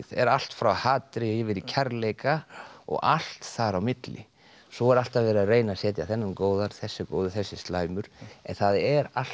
er allt frá hatri yfir í kærleika og allt þar á milli svo er alltaf verið að reyna að setja þennan góðan þessi er góður þessi er slæmur en það er allt